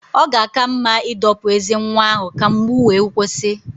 Ọ ga-aka mma ịdọpụ ezé nwa ahụ ka mgbu wee kwụsị.